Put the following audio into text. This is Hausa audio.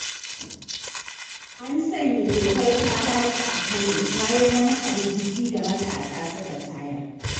An sanya dokar ta-ɓaci a Kano, bayan wani hargitsi da matasa suka tayar.